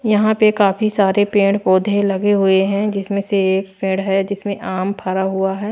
यहां पे काफी सारे पेड़ पौधे लगे हुए है जिसमें से एक पेड़ है जिसमें आम फरा हुआ है।